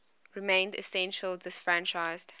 remained essentially disfranchised